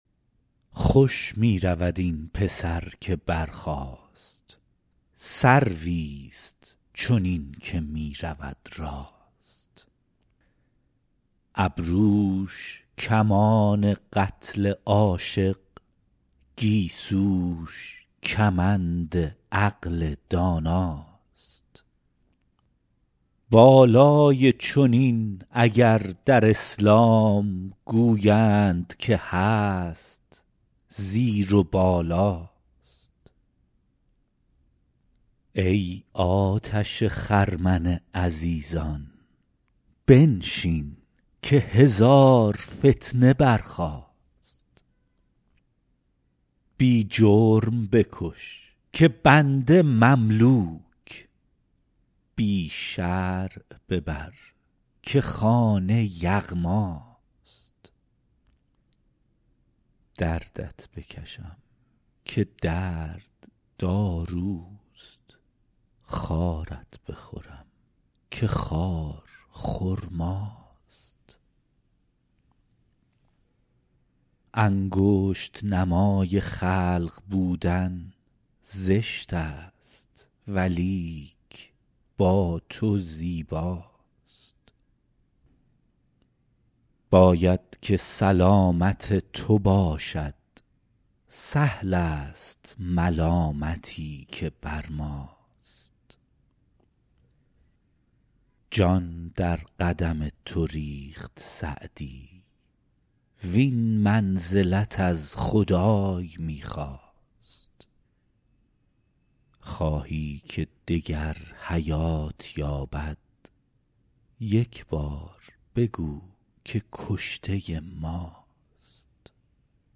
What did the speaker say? خوش می رود این پسر که برخاست سرویست چنین که می رود راست ابروش کمان قتل عاشق گیسوش کمند عقل داناست بالای چنین اگر در اسلام گویند که هست زیر و بالاست ای آتش خرمن عزیزان بنشین که هزار فتنه برخاست بی جرم بکش که بنده مملوک بی شرع ببر که خانه یغماست دردت بکشم که درد داروست خارت بخورم که خار خرماست انگشت نمای خلق بودن زشت است ولیک با تو زیباست باید که سلامت تو باشد سهل است ملامتی که بر ماست جان در قدم تو ریخت سعدی وین منزلت از خدای می خواست خواهی که دگر حیات یابد یک بار بگو که کشته ماست